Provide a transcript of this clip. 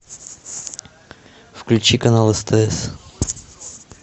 включи канал стс